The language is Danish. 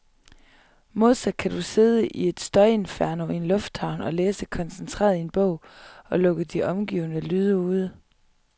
Modsat kan du sidde i et støjinferno i en lufthavn og læse koncentreret i en bog, og lukke de omgivende lyde ude.